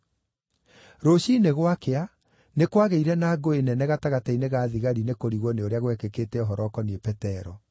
Rũciinĩ gwakĩa, nĩ kwagĩire na ngũĩ nene gatagatĩ-inĩ ga thigari nĩ kũrigwo nĩ ũrĩa gwekĩkĩte ũhoro ũkoniĩ Petero.